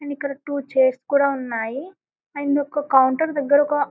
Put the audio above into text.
And ఇక్కడ two chairs కూడా ఉన్నాయి అండ్ ఒక కౌంటర్ దగరగా.